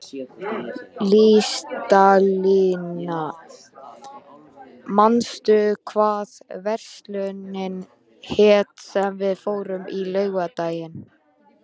Listalín, manstu hvað verslunin hét sem við fórum í á laugardaginn?